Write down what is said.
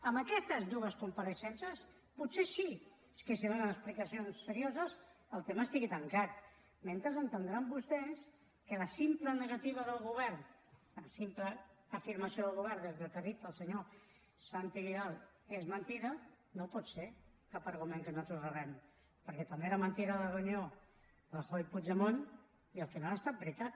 amb aquestes dues compareixences potser sí que si donen explicacions serioses el tema estarà tancat mentrestant deuen entendre vostès que la simple afirmació del govern de que el que ha dit el senyor santi vidal és mentida no pot ser cap argument que nosaltres rebem perquè també era mentida la reunió rajoy puigdemont i al final ha estat veritat